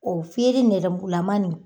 O fiyere nɛrɛmugulaman nin